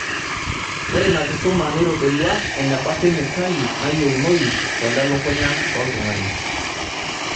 Ore ina kisuma neitodolua eneba kemikali naayieunoi tolelukunya loltung'ani.